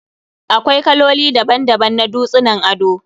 Akwai kaloli daban-daban na dutsunan ado